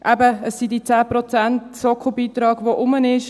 Es sind diese 10 Prozent Sockelbeitrag, die vorhanden sind.